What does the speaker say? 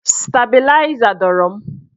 Stabịlaịza dọrọ m.